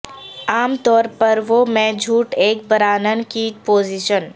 عام طور پر وہ میں جھوٹ ایک برانن کی پوزیشن